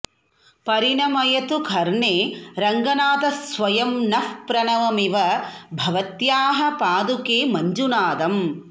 परिणमयतु कर्णे रङ्गनाथः स्वयं नः प्रणवमिव भवत्याः पादुके मञ्जुनादम्